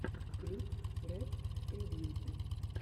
клип рэп трибьют